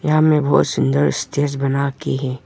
यहाँ में बहोत सुंदर स्टेज बना के है।